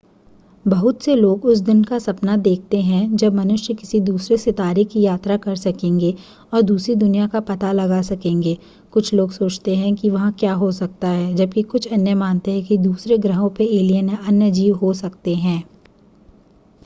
बहुत से लोग उस दिन का सपना देखते हैं जब मनुष्य किसी दूसरे सितारे की यात्रा कर सकेंगे और दूसरी दुनिया का पता लगा सकेंगे कुछ लोग सोचते हैं कि वहां क्या हो सकता है जबकि कुछ अन्य मानते हैं कि दूसरें ग्रहाें पर एलिअन या अन्य जीव हो सकते हैं